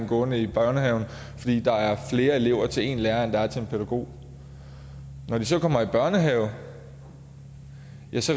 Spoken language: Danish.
gående i børnehaven fordi der er flere elever til en lærer end der er børn til en pædagog når de så kommer i børnehave